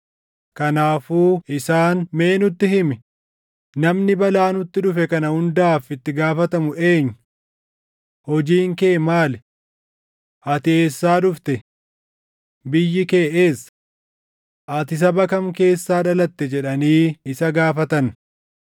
Kanaafuu isaan, “Mee nutti himi; namni balaa nutti dhufe kana hundaaf itti gaafatamu eenyu? Hojiin kee maali? Ati eessaa dhufte? Biyyi kee eessa? Ati saba kam keessaa dhalatte?” jedhanii isa gaafatan.